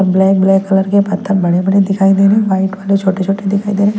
Black black colour के पत्थर बड़े-बड़े दिखाई दे रहे हैं वाइट वाले छोटे-छोटे दिखाई दे रहे हैं।